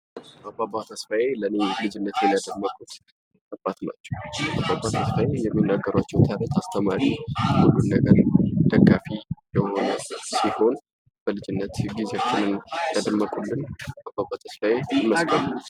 ኢምፓረተር ሃይለ ሥላሴ ኢትዮጵያ ንጉሥ፣ አፍሪካ በኩል የታወቀ የፖለቲካ ጀታ እና የዓለም ታሪክ ሰው ነው፡፡ እሱ በ1892 በአኮለ አካባቢ ተወለደ። በተወለደው ሰዓት ከመጀመሪያ የንጉሥ ቤተሰብ አባል ነበር